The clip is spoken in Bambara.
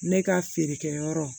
Ne ka feerekɛyɔrɔ